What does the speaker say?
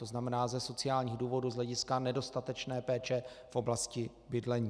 To znamená ze sociálních důvodů z hlediska nedostatečné péče v oblasti bydlení.